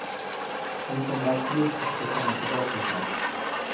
Vi kommer absolut försöka komma tillbaka snart.